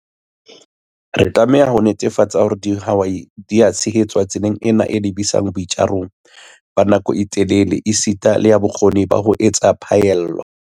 Re tlameha le ho netefatsa hore dihwai di a tshehetswa tseleng ena e lebisang boitjarong ba nako e telele esita le ya bokgoni ba ho etsa phaello.